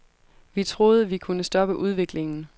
Vi troede, vi kunne stoppe udviklingen.